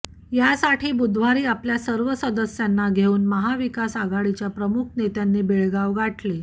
यासाठी बुधवारी आपल्या सर्व सदस्यांना घेऊन महाविकास आघाडीच्या प्रमुख नेत्यांनी बेळगाव गाठले